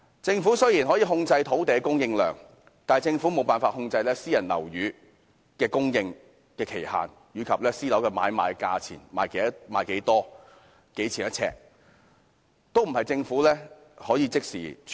政府雖然可以控制土地的供應量，但無法控制私人樓宇的供應期及買賣價格，出售的單位數目及呎價政府均不可能即時處理。